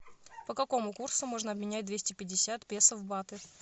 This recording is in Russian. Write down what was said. по какому курсу можно обменять двести пятьдесят песо в баты